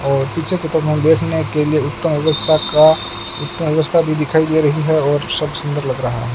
और पिछे त तो हम देखने के लिए उत्तम व्यवस्था का उत्तम व्यवस्था भीं दिखाई दे रहीं हैं और सब सुंदर लग रहा --